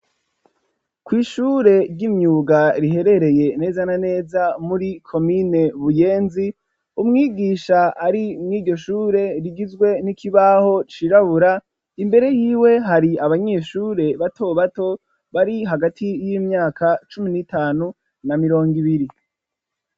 Kw'ishure ry'imyuga riherereye neza na neza muri komine buyenzi umwigisha ari mwigishure rigizwe n'ikibaho cirabura imbere y'iwe hari abanyeshure bato bato bari hagati y'imyaka cumi n'itanu na mirongo ibiri.